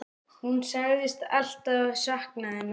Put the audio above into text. Hún sagðist alltaf sakna hennar.